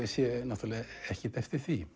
sé ekkert eftir því